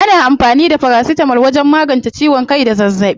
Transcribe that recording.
Ana amfani da farasitamol wajen magance ciwon kai da zazzaɓi.